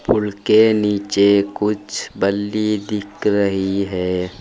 पुल के नीचे कुछ बल्ली दिख रही है।